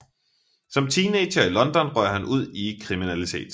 Som teenager i London røg han ud i kriminalitet